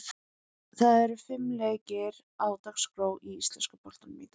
Það eru fimm leikir á dagskrá í íslenska boltanum í dag.